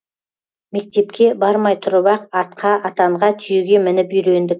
мектепке бармай тұрып ақ атқа атанға түйеге мініп үйрендік